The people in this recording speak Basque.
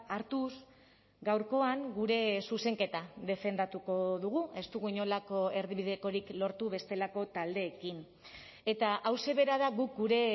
hartuz gaurkoan gure zuzenketa defendatuko dugu ez dugu inolako erdibidekorik lortu bestelako taldeekin eta hauxe bera da guk gure